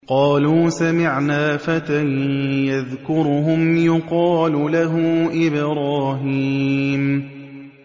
قَالُوا سَمِعْنَا فَتًى يَذْكُرُهُمْ يُقَالُ لَهُ إِبْرَاهِيمُ